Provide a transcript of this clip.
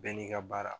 Bɛɛ n'i ka baara